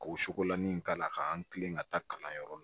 Ka o sukolan nin k'a la k'an kilen ka taa kalanyɔrɔ la